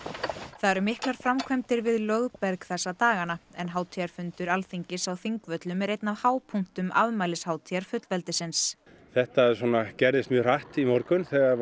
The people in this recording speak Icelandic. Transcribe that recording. það eru miklar framkvæmdir við Lögberg þessa dagana en hátíðarfundur Alþingis á Þingvöllum er einn af hápunktum afmælishátíðar fullveldisins þetta svona gerðist mjög hratt í morgun þegar